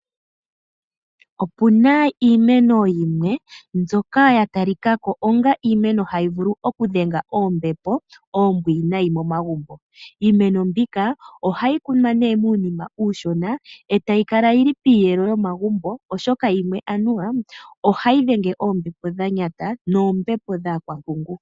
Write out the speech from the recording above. Opuna iimeno yimwe ndjoka yatalikako hayi vulu oku dhenga oombepo oombwinayi momagumbo. Iimeno mbika ohayi kunwa muunima uushona, etayi kala yili piiyelo yomagumbo oshoka yimwe ohayi dhenge oombepo dhanyata noombepo dhaakwampungu.